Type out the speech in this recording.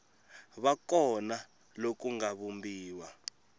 va kona loku nga vumbiwa